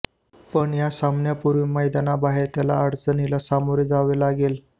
पण या सामन्यापूर्वी मैदानाबाहेर त्याला अडचणीला सामोरे जावे लागले